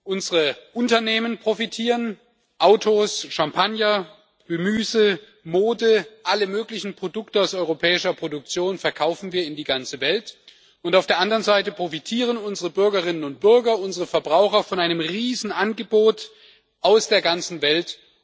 Unsere Unternehmen profitieren Autos, Champagner, Gemüse, Mode, alle möglichen Produkte aus europäischer Produktion verkaufen wir in die ganze Welt, und auf der anderen Seite profitieren unsere Bürgerinnen und Bürger, unsere Verbraucher von einem Riesenangebot aus der ganzen Welt.